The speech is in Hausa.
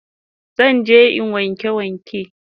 Zan je in wanke waken